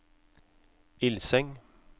Ilseng